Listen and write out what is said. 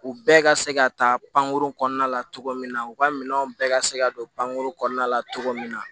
U bɛɛ ka se ka ta pankurun kɔnɔna la cogo min na u ka minɛnw bɛɛ ka se ka don pankuru kɔnɔna la cogo min na